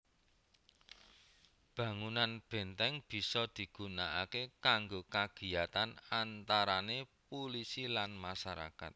Bangunan benteng bisa digunakaké kanggo kagiyatan antarané pulisi lan masyarakat